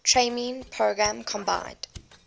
training program combined